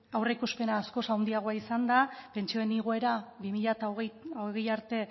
aurreikuspenak askoz handiago izan da pentsioen igoera bi mila hogei arte ehuneko